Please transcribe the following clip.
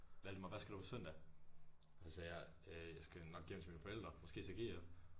Valdemar hvad skal du på søndag? Og så sagde jeg jeg skal nok hjem til mine forældre måske se GF